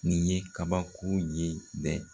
Nin ye kabako ye bɛ!